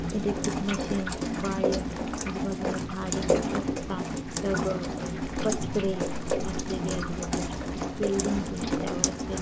electric machine wire आजूबाजूला झाडे रास्ता दगड पत्रे असलेले आजूबाजूला बिल्डींग त्यावर असलेला|